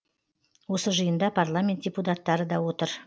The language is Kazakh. осы жиында парламент депутаттары да отыр